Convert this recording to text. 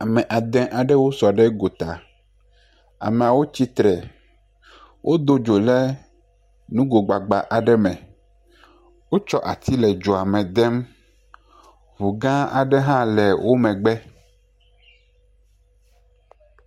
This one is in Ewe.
Ame ade aɖewo sɔ ɖe gota, amewo tsitre wodo dzo le nugo gbagba aɖe me wotsɔ ati le dzoa me dem , ŋu gã aɖe hã le wo megbe.